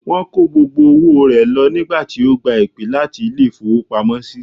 Wón kó gbogbo owó rẹ̀ lọ nígbà tí ó gba ìpè láti Ilé ìfowópamósí